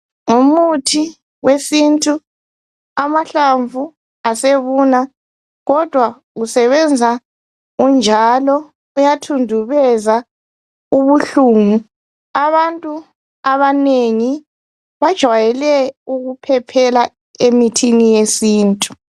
Ngumuthi wesintu, amahlamvu asebuna, kodwa uyasenza unjalo. Uyathudubeza ubuhlungu. Abantu abanengi bajwayele ukuphephela emithini yesintu.